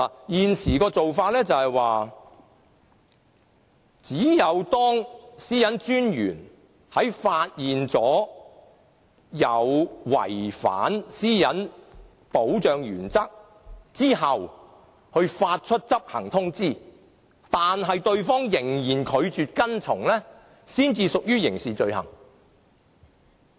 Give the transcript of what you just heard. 現時的做法是，當私隱專員在發現有人違反私隱保障原則後，會發出執行通知，如對方仍然拒絕跟從，才屬於刑事罪行。